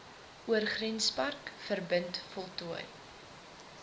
oorgrenspark verbind voltooi